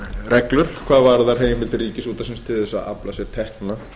reglur hvað varðar heimildir ríkisútvarpsins til þess að afla sér tekna